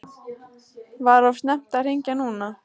Var of snemmt að hringja núna?